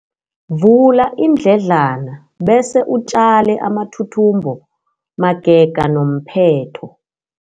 Vula iindledlana bese utjale amathuthumbo magega nomphetho.